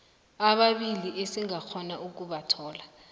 ababili esingakghona ukubathola